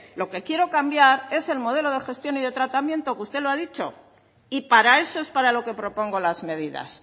lo que quiero cambiar es el modelo de gestión y de tratamiento que usted lo ha dicho y para eso es para lo que propongo las medidas